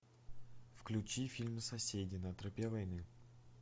включи фильм соседи на тропе войны